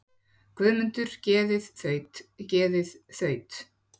Guðmundar geðið þaut, geðið þaut.